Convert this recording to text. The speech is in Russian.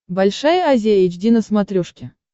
большая азия эйч ди на смотрешке